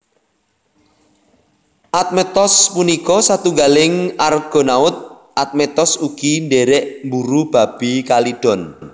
Admetos punika satunggaling Argonaut Admetos ugi ndhèrèk mburu Babi Kalidon